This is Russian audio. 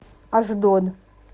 ашдод